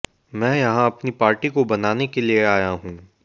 मैं यहां अपनी पार्टी को बनाने के लिए आया हूं